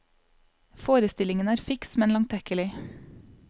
Forestillingen er fiks, men langtekkelig.